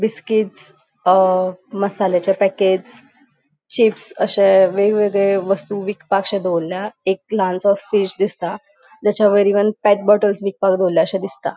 बिस्किट्स अ मसाल्याचे packets chips अशे वेगवेगळे वस्तु विकपाकशे दोवरल्या एक ल्हानसो फ़िश् दिसता. त्याच्या वैर इव्हन पेग बॉटल्स विकपाक दोवरल्याशे दिसता.